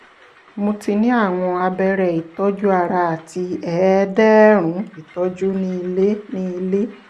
mo ti ní àwọn abẹ́rẹ́ ìtọ́jú ara àti ẹ̀ẹ̀ẹ̀dẹ̀ẹ̀ẹ̀rún ìtọ́jú ní ilé ní ilé